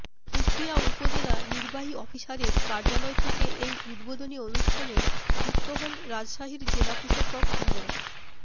পুঠিয়া উপজেলা নির্বাহী অফিসারের কার্যালয় থেকে এই উদ্বোধনী অনুষ্ঠানে যুক্ত হন রাজশাহীর জেলা প্রশাসক মো